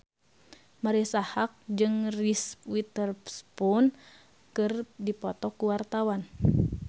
Marisa Haque jeung Reese Witherspoon keur dipoto ku wartawan